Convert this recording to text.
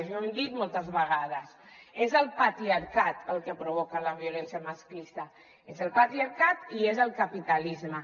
i ho hem dit moltes vegades és el patriarcat el que provoca la violència masclista és el patriarcat i és el capitalisme